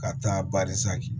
Ka taa